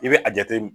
I bɛ a jate min